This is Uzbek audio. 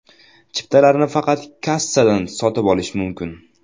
Chiptalarni faqat kassadan sotib olish mumkin.